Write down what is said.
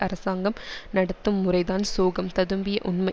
அரசாங்கம் நடத்தும் முறைதான் சோகம் ததும்பிய உண்மை